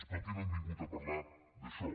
però aquí no hem vingut a parlar d’això